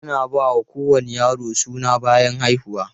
Ana ba kowane yaro suna bayan haihuwa.